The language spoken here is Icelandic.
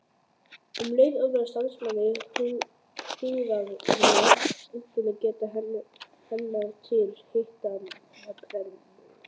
Um leið örvast starfsemi húðarinnar, einkum geta hennar til hitatemprunar.